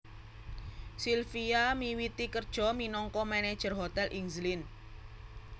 Silvia miwiti kerja minangka manager hotel ing Zlin